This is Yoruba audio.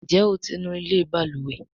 Njé o tí ńú ilé balùwẹ̀?